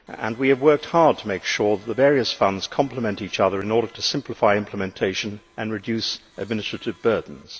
We have worked hard to make sure that the various funds complement one another, in order to simplify implementation and reduce administrative burdens.